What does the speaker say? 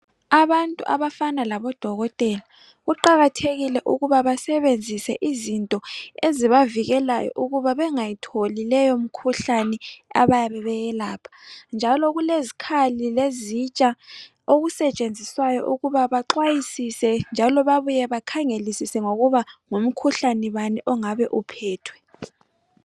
Abantu abafana labodokotela kuqakathekile ukuba basebenzise izinto ezibavikelayo ukuba bengayitholi leyo mkhuhlane abayabebeyelapha njalo kulezikhali lezitsha okusetsenziswayo ukuba baxwayisise njalo babuye bakhangelisise ngokuba ngumkhuhlane ongabe uphethwe